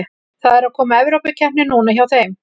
Það er að koma Evrópukeppni núna hjá þeim.